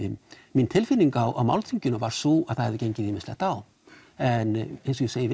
mín tilfinning á málþinginu var sú að það hefði gengið ýmislegt á en eins og ég segi